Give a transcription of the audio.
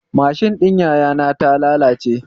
Mashin ɗin yaya na ta lalace